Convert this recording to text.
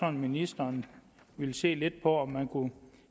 at ministeren ville se lidt på om man kunne